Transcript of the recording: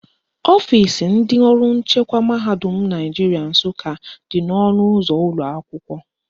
Ọfisi ndị ọrụ nchekwa mahadum Naijiria Nsụka dị n' ọnụụzọ ụlọakwụkwọ